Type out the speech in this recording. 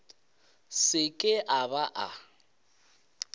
se ke a ba a